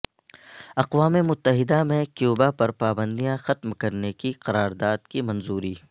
اقوام متحدہ میں کیوبا پر پابندیاں ختم کرنے کی قراداد کی منظوری